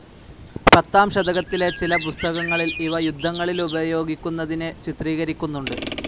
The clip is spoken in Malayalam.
പത്താം ശതകത്തിലെ ചില പുസ്തകങ്ങളിൽ ഇവ യുദ്ധങ്ങളിലുപയോഗിക്കുനതിനെ ചിത്രീകരിക്കുന്നുണ്ട്.